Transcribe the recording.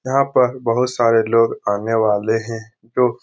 यहाँ पर बहुत सारे लोग आने वाले हैं जो --